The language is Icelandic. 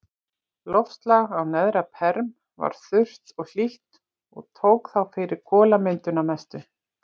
Loftslag á neðra-perm var þurrt og hlýtt og tók þá fyrir kolamyndun að mestu.